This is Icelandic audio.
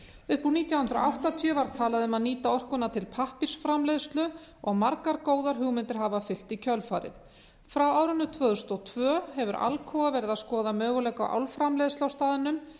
upp úr nítján hundruð áttatíu var talað um að nýta orkuna til pappírsframleiðslu og margar góðar hugmyndir hafa fylgt í kjölfarið frá árinu tvö þúsund og tvö hefur alcoa verið að skoða möguleika á álframleiðslu á staðnum